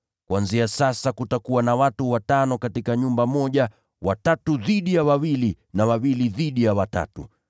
Kuanzia sasa, kutakuwa na watu watano katika nyumba moja, watatu dhidi ya wawili, na wawili dhidi ya watatu.